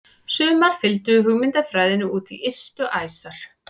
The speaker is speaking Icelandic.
Sumar fylgdu hugmyndafræðinni út í ystu æsar.